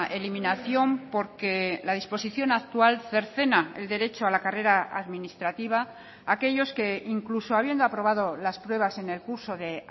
eliminación porque la disposición actual cercena el derecho a la carrera administrativa a aquellos que incluso habiendo aprobado las pruebas en el curso de